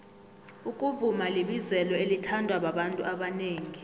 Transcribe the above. ukuvuma libizelo elithandwa babantu abanengi